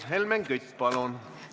Helmen Kütt, palun!